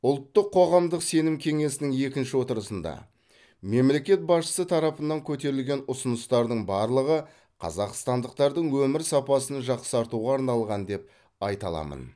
ұлттық қоғамдық сенім кеңесінің екінші отырысында мемлекет басшысы тарапынан көтерілген ұсыныстардың барлығы қазақстандықтардың өмір сапасын жақсартуға арналған деп айта аламын